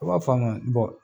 A b'a fɔ a ma n bɔ